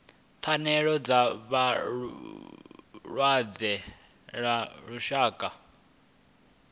pfanelo dza vhalwadze ḽa lushaka